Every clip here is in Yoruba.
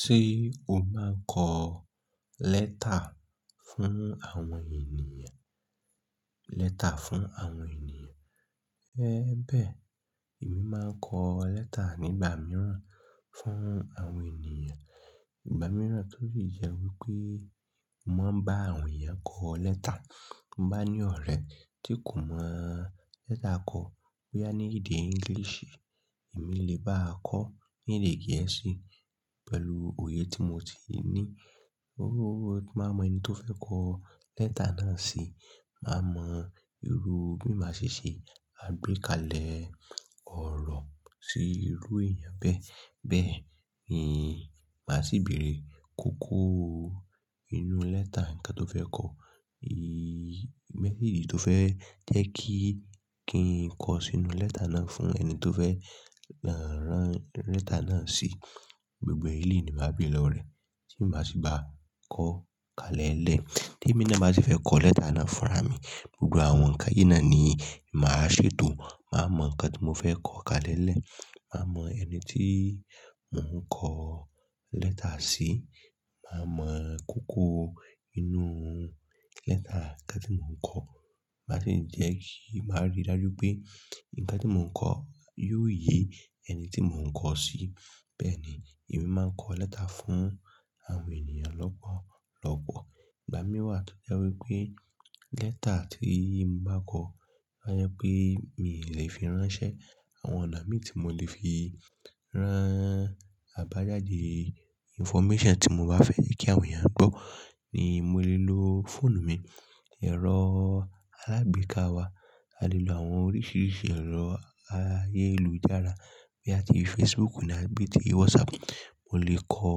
Ṣé o máa ń kọ lẹ́tà fún àwọn ènìyàn? Lẹ́tà fún àwọn ènìyàn. Ẹ bẹ́ẹ̀, èmi máa ń kọ lẹ́tà nígbà míràn fún àwọn ènìyàn. Ìgbà mìíràn to le jẹ́ wípé mo ń bá àwọn èèyàn kọ lẹ́tà. Mo bá ní ọ̀rẹ́ tí kò mọ lẹ́tà kọ, boya ní èdè English, èmi lè bá a kọ ní èdè Gẹ̀ẹ́sì pẹ̀lú òye tí mo ti ní. Mo máa mọ ẹni tó fẹ́ kọ lẹ́tà náà sí, màá mọ irú bí màá ṣe ṣe àgbékalẹ̀ ọ̀rọ̀ sí irú èèyàn bẹ́ẹ̀. Bẹ́ẹ̀ ni màá sì bèrè kókó inú lẹ́tà ǹkan tó fẹ́ kọ. Message tó fẹ́ jẹ́ kí ǹ kọ sínú lẹ́tà náà fún ẹni tó fẹ́ rán lẹ́tà náà sí. Gbogbo èleyí ni màá béèrè lọ́wo rẹ̀ẹ́ tí màá sì bá kọ kalẹ́lẹ́. Tí èmi náà bá sì fẹ́ kọ lẹ́tà náà fúnra mi, gbogbo àwọn ǹkan yìí náà ni màá ṣètò. Màá mọ ǹkan tí mo fẹ́ kọ kalẹ́lẹ́, màá mọ ẹni tí mò ń kọ lẹ́tà sí, màá mọ kókó inú lẹ́tà ǹkan tí mò ń kọ. Màá sì jẹ́ kí màá rí dájú pé ǹkan tí mò ń kọ yóò yí ẹni tí mò ń kọ sí. Bẹ́ẹ̀ ni èmi máa ń kọ lẹ́tà fún àwọn ènìyàn lọ́pọ̀lọ́pọ̀. Ìgbà mìí n wa tọ́ jẹ́ wípé lẹ́tà tí mo bá kọ, a jẹ́ pé mi lè fi ránṣẹ́. Àwọn ọ̀nà mí tí mo lè fi rán àbájáde, information tí mo bá fẹ́ kí àwọn èèyàn gbọ́ ni mò le lo fóònù mi, ẹ̀rọ alágbèéká wa. A lè lo àwọn oríṣiríṣi ẹ̀rọ ayélujára boya ti Facebook ni àbí ti WhatsApp. Mo lè kọ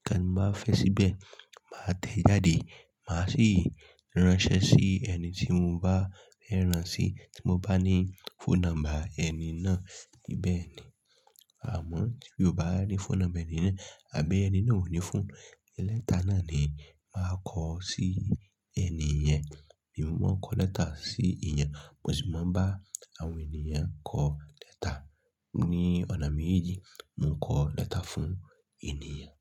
ǹkan mo bá fẹ́ síbẹ̀, màá tẹ̀ jáde, màá sì ránṣẹ́ sí ẹni tí mo bá fẹ́ rán sí tí mo bá ní phone number ẹni náà. Beẹ̀ni. Àmọ́ tí mi ò bá rí phone number ẹni náà àbí ẹni náà ò ní phone, lẹ́tà náà ni màá kọ sí ẹni yẹn. Èmi mo máa ń kọ lẹ́tà sí èèyàn, mo sì máa ń bá àwọn èniyàn kọ lẹ́tà. Ni ọ̀nà méjì, mò ń kọ lẹ́tà fún èniyàn.